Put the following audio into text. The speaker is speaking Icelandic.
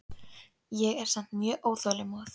En ég er samt mjög óþolinmóð.